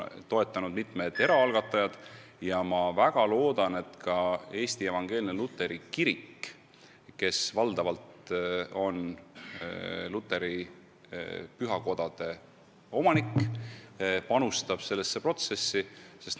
Toetanud on ka mitmed eraalgatajad ja ma väga loodan, et Eesti Evangeelne Luterlik Kirik, kes valdavalt on luteri pühakodade omanik, panustab sellesse protsessi samuti.